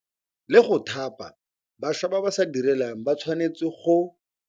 La go thapa bašwa ba ba se direlang ba tshwanetse ba tshwanetse go.